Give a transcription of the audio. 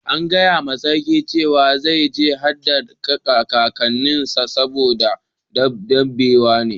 An gaya ma sarki cewa zai je ya haddu da kakanin sa badda daddewa ba.